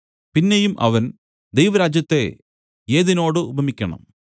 പിന്നെയും അവൻ ദൈവരാജ്യത്തെ ഏതിനോട് ഉപമിക്കണം